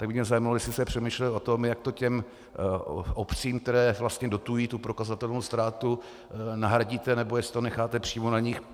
Tak by mě zajímalo, jestli jste přemýšlel o tom, jak to těm obcím, které vlastně dotují tu prokazatelnou ztrátu, nahradíte, nebo jestli to necháte přímo na nich.